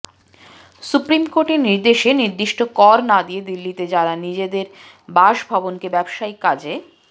supreme কোর্টের নির্দেশে নির্দিষ্ট কর না দিয়ে দিল্লিতে যাঁরা নিজের বাসভবনকে ব্যবসায়িক কাজে